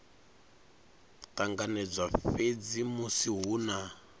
ṱanganedzwa fhedzi musi hu na